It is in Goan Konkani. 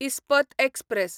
इस्पत एक्सप्रॅस